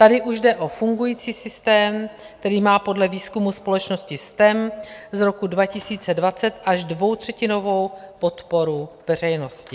Tady už jde o fungující systém, který má podle výzkumu společnosti STEM z roku 2020 až dvoutřetinovou podporu veřejnosti.